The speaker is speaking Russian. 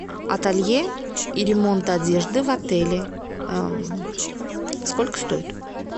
ателье и ремонт одежды в отеле сколько стоит